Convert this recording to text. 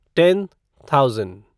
ten thousand